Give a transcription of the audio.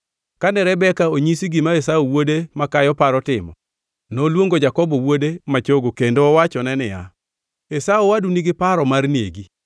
Kane Rebeka onyisi gima Esau wuode makayo paro timo, noluongo Jakobo wuode ma chogo kendo owachone niya, “Esau owadu nigi paro mar negi.”